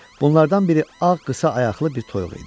Bunlardan biri ağ qısa ayaqlı bir toyuq idi.